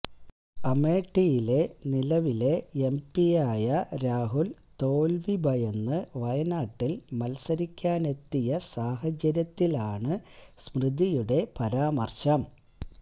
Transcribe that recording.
അമേഠിയിലെ നിലവിലെ എംപിയായ രാഹുൽ തോൽവി ഭയന്ന് വയനാട്ടിൽ മത്സരിക്കാനെത്തിയ സാഹചര്യത്തിലാണ് സ്മൃതിയുടെ പരാമർശം